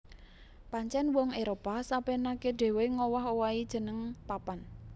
Pancèn wong Éropah sapénaké dhéwé ngowah owahi jeneng papan